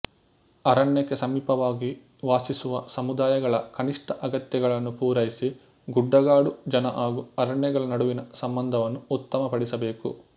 ಅರಣ್ಯಕ್ಕೆ ಸಮೀಪವಾಗಿ ವಾಸಿಸುವ ಸಮುದಾಯಗಳ ಕನಿಷ್ಠ ಅಗತ್ಯಗಳನ್ನು ಪೂರೈಸಿ ಗುಡ್ಡಗಾಡು ಜನ ಹಾಗೂ ಅರಣ್ಯಗಳ ನಡುವಿನ ಸಂಬಂಧವನ್ನು ಉತ್ತಮಪಡಿಸಬೇಕು